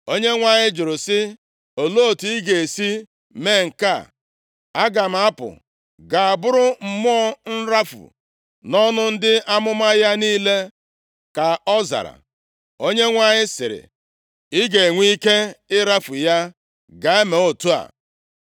“‘ Onyenwe anyị jụrụ sị, Olee otu ị ga-esi mee nke a?’ “ ‘Aga m apụ gaa bụrụ mmụọ nrafu nʼọnụ ndị amụma ya niile,’ ka ọ zara. “ Onyenwe anyị sịrị, ‘Ị ga-enwe ike ịrafu ya. Gaa mee otu a.’